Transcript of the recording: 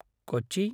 कोचि